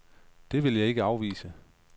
Det vil jeg ikke afvise.